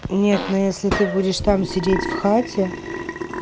нет но если ты будешь там сидеть в хате